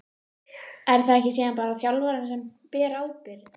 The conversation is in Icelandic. Er það ekki síðan bara þjálfarinn sem ber ábyrgð?